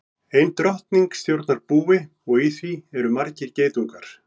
Ein drottning stjórnar búi og í því eru margir geitungar.